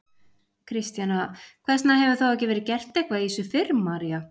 Kristjana: Hvers vegna hefur þá ekki verið gert eitthvað í þessu fyrr María?